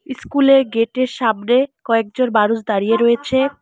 School -এর gate -এর সামনে কয়েকজন মানুষ দাঁড়িয়ে রয়েছে।